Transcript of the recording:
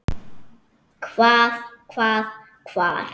Hvað. hvað. hvar.